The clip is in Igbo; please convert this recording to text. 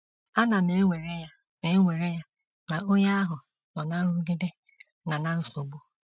Ana m ewere ya na ewere ya na onye ahụ nọ ná nrụgide na ná nsogbu.